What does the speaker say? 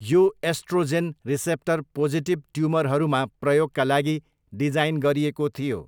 यो oestrogen receptor positive ट्युमरहरूमा प्रयोगका लागि डिजाइन गरिएको थियो।